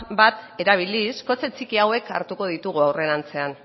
bat erabiliz kotxe txiki hauek hartuko ditugu aurrerantzean